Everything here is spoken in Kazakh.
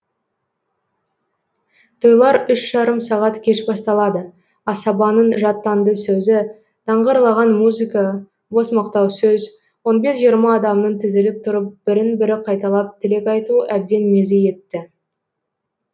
тойлар үш жарым сағат кеш басталады асабаның жаттанды сөзі даңғырлаған музыка бос мақтау сөз он бес жиырма адамның тізіліп тұрып бірін бірі қайталап тілек айтуы әбден мезі етті